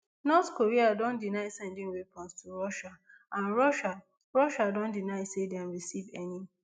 north korea don deny sending weapons to russia and russia russia don deny say dem receive any